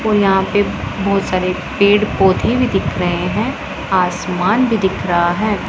और यहां पे बहोत सारे पेड़ पौधे भी दिख रहे हैं आसमान भी दिख रहा है।